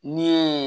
Ni ye